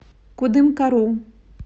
кудымкару